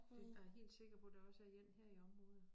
Det jeg helt sikker på der også er én her i området